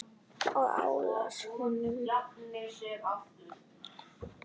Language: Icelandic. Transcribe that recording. Ég álasa honum ekki.